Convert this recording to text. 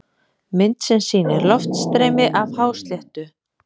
Mynd sem sýnir loftstreymi af hásléttu.